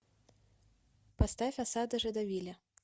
поставь осада жедовиля